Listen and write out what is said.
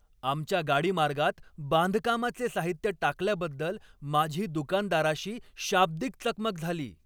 आमच्या गाडीमार्गात बांधकामाचे साहित्य टाकल्याबद्दल माझी दुकानदाराशी शाब्दिक चकमक झाली.